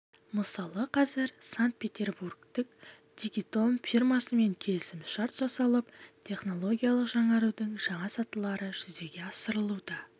мысалы қазір санкт-питербургтік дигитон фирмасымен келісім-шарт жасалып технологиялық жаңарудың жаңа сатылары жүзеге асырылуда